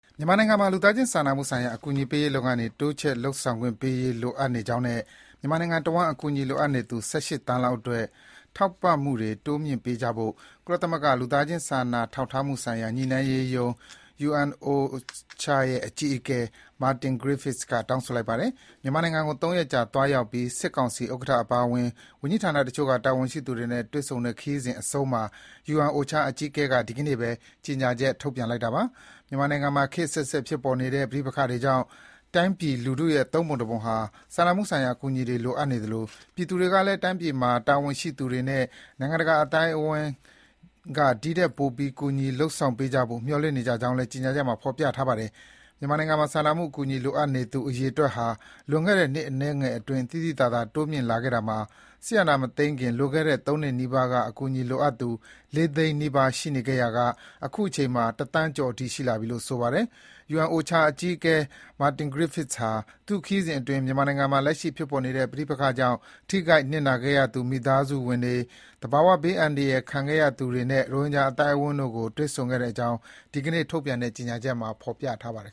မြန်မာနိုင်ငံမှာ လူသားချင်းစာနာမှုဆိုင်ရာ အကူအညီပေးရေးလုပ်ငန်းတွေ တိုးချဲ့ လုပ်ဆောင်ခွင့်ပေးရေးနဲ့ မြန်မာနိုင်ငံတဝှန်း အကူအညီ လိုအပ်နေသူ ၁၈ သန်းလောက်အတွက် ထောက်ပံ့မှုတွေ တိုးမြှင့်ပေးကြဖို့ ကုလသမဂ္ဂ လူသားချင်း စာနာထောက်ထားမှု ဆိုင်ရာ ညှိနှိုင်းရေးရုံး (UNOCHA) ရဲ့ အကြီးအကဲ Martin Griffiths တောင်းဆိုလိုက်ပါတယ်။ မြန်မာနိုင်ငံကို ၃ ရက်ကြာ သွားရောက်ပြီး စစ်ကောင်စီဥက္ကဋ္ဌအပါအဝင် ဝန်ကြီးဌာနတချို့က တာဝန်ရှိသူတွေနဲ့ တွေ့ဆုံတဲ့ ခရီးစဉ်အဆုံးမှာ UNOCHA အကြီးအကဲက ဒီကနေ့ပဲ ကြေညာချက်ထုတ်ပြန်လိုက်တာပါ။ မြန်မာနိုင်ငံမှာ ခေတ်အဆက်ဆက်ဖြစ်ပေါ်နေတဲ့ ပဋိပက္ခတွေကြောင့် တိုင်းပြည် လူထုရဲ့ ၃ ပုံတပုံဟာ စာနာမှုဆိုင်ရာအကူအညီတွေ လိုအပ်နေသလို ပြည်သူတွေကလည်း တိုင်းပြည်မှာ တာဝန်ရှိသူတွေနဲ့ နိုင်ငံတကာအသိုင်းအဝိုင်း ဒီထက်ပိုပြီး ကူညီလုပ်ဆောင်ပေးကြဖို့ မျှော်လင့်နေကြကြောင်းလည်း ကြေညာချက်မှာ ဖော်ပြထားပါတယ်။ မြန်မာနိုင်ငံမှာ စာနာမှုအကူအညီ လိုအပ်သူအရေအတွက်ဟာ လွန်ခဲ့တဲ့ နှစ်အနည်းငယ်အတွင်း သိသိသာသာ တိုးမြင့်လာခဲ့တာမှာ စစ်ဏာမသိမ်းခင် လွန်ခဲ့တဲ့ ၃ နှစ်နီးပါးက အကူအညီလိုအပ်သူ ၄ သိန်းနီးပါး ရှိခဲ့ရာက အခုချိန်မှာ ၁ သန်းကျော်အထိ ရှိသွားပြီလို့ ဆိုပါတယ်။ UNOCHA အကြီးအကဲ Martin Griffiths ဟာ သူ့ခရီးစဉ်အတွင်း မြန်မာနိုင်ငံမှာ လက်ရှိဖြစ်ပေါ်နေတဲ့ ပဋိပက္ခကြောင့် ထိခိုက်နစ်နာခဲ့ရသူ မိသားစုဝင်တွေ၊ သဘာဝဘေးအန္တရာယ်ဒဏ်ခံခဲ့ရသူတွေနဲ့ ရိုဟင်ဂျာအသိုင်းအဝိုင်းတို့ကို တွေ့ဆုံခဲ့ကြောင်းလည်း ဒီကနေ့ ထုတ်ပြန်တဲ့ ကြေညာချက်မှာ ဖော်ပြထားပါတယ်